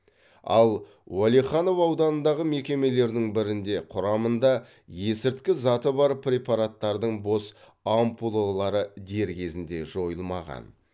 ал уәлиханов ауданындағы мекемелердің бірінде құрамында есірткі заты бар препараттардың бос ампулалары дер кезінде жойылмаған